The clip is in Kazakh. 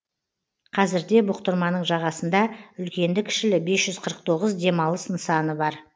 қазірде бұқтырманың жағасында үлкенді кішілі бес жүз қырық тоғыз демалыс нысаны бар